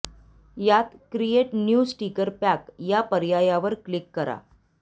यात create new sticker pack या पर्यायावर क्लिक करा